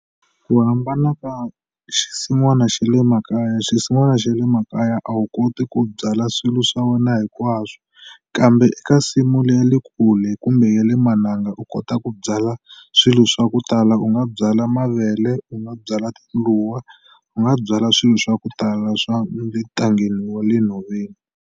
Ku hambana ka xisin'wana xa le makaya xisin'wana xa le makaya a wu koti ku byala swilo swa wena hinkwaswo kambe eka nsimu le ya le kule kumbe ya le mananga u kota ku byala swilo swa ku tala u nga byala mavele u nga byala tindluwa u nga byala swilo swa ku tala swa le ntangeni wa le nhoveni.